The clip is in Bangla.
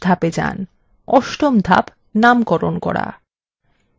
অষ্টম ধাপ নামকরণ করা